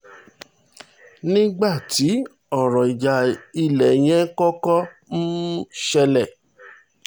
nígbà tí ọ̀rọ̀ ìjà ilẹ̀ yẹn kọ́kọ́ um ṣẹlẹ̀